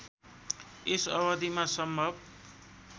यस अवधिमा सम्भव